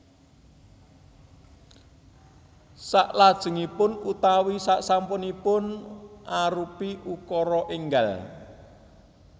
Salajengipun utawi sasampunipun arupi ukara énggal